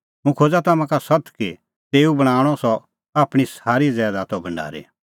हुंह खोज़ा तम्हां का सत्त कि तेऊ बणांणअ सह आपणीं सारी ज़ैदातो भढारी